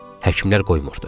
Həkimlər qoymurdu.